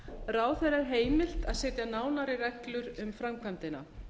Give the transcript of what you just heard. ráðherra er heimilt að setja nánari reglur um framkvæmdina